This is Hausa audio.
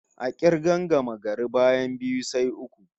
A k'irgar gamagari, bayan biyu, sai uku